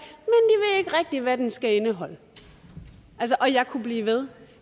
det hvad den skal indeholde og jeg kunne blive ved